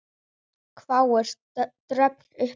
hváir Dröfn upphátt og hóstar.